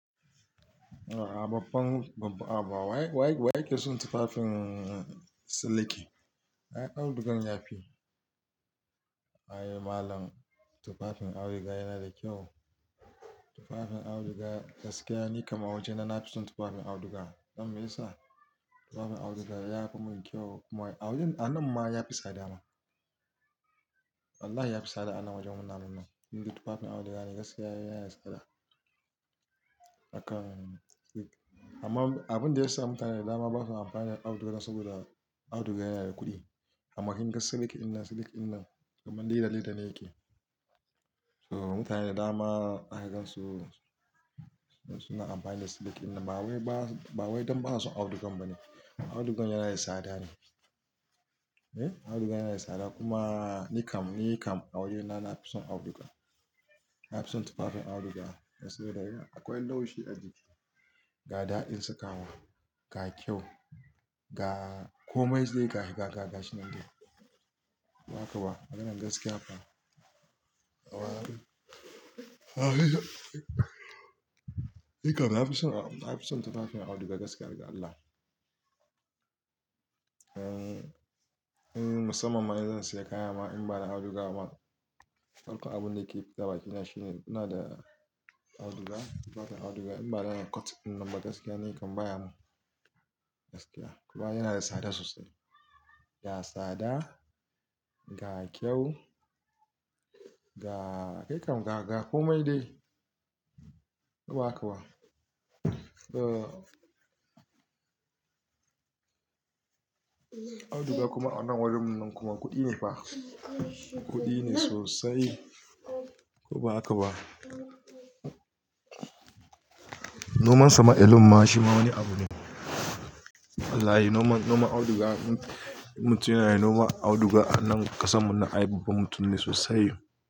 A'a babba, haba wa yake son tufafin siliki? Ai audugan ya fi. Ai malam tufafin auduga yana da kyau? Tufafin auduga, gaskiya ni kam a wajena nafi son tufafin auduga. Don meyasa? Tufafin auduga yafi mun kyau, kuma anan ma yafi sada ma. Wallahi yafi sada anan wajen wannan bin nan. Inde tufafin auduga ne gaskiya yana da sada. Amma abinda yasa mutane da dama basa amfani da auduga, saboda auduga yana da kuɗi. Amma kin ga siliki ɗin nan, siliki ɗin nan kaman leda leda ne yake. So mutane da dama zaki gan su, suna amfani da siliki ɗin nan. Ba wai ba, ba wai don basu son audugan ba ne. Audugan yana da sada ne, eh audugan yana da sada kuma ni kam, ni kam a wajena nafi son auduga. Nafi son tufafin auduga dan saboda, Akwai laushi a jiki, ga daɗin sakawa, ga kyau, ga komai zai ga shi nan dai. Ko ba haka ba? Maganan gaskiya fa. Ni kam nafi au- na fi son tufafin auduga gaskiya har ga Allah. Musamman ma in zan siya kaya ma in bana auduga ma, farko abun da yake fita bakina shine, ina da auduga, bada auduga in bada na cutin ɗin nan ba gaskiya ni kam baya mun gaskiya. Kuma yana da sada sosai. Ga sada, ga eh kam, ga ga ga komai dai. Ko ba haka ba? Auduga kuma anan warin mu nan kuma kuɗi ne fa. Kuɗi ne sosai. Ko ba haka ba? Noman sa ma alone ma shi ma wani abu ne. Wllahi noman auduga, mutum yana noman auduga anan ƙasan mu nan ai babban mutum ne sosai.